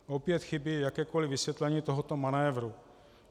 Opět chybí jakékoli vysvětlení tohoto manévru.